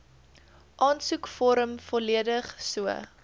aansoekvorm volledig so